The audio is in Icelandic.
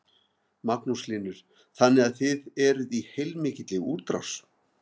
Magnús Hlynur: Þannig að þið eruð í heilmikilli útrás?